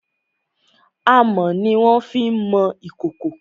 Amọ̀ ni wọ́n fi má ń mọ ìkòkò.